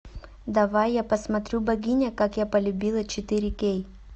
давай я посмотрю богиня как я полюбила четыре кей